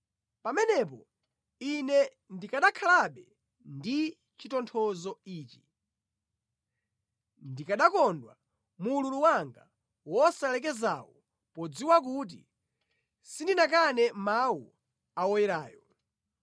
Pamenepo ine ndikanakhalabe ndi chitonthozo ichi, ndikanakondwa mu ululu wanga wosalekezawu podziwa kuti sindinakane mawu a Woyerayo.